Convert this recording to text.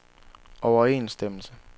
overensstemmelse